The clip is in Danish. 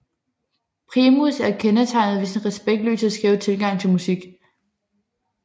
Primus er kendetegnet ved sin respektløse og skæve tilgang til musik